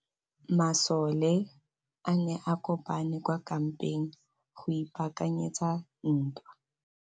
Masole a ne a kopane kwa kampeng go ipaakanyetsa ntwa.